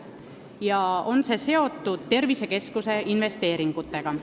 See on seotud tervisekeskuste investeeringutega.